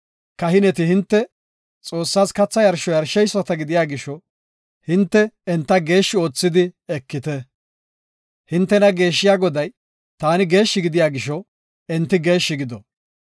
Kahineti hinte Xoossaas katha yarsho yarsheyisata gidiya gisho, hinte enta geeshshi oothidi ekite. Hintena geeshshiya Goday, taani, geeshshi gidiya gisho, enti geeshshi gido.